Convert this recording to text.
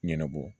Ɲɛnabɔ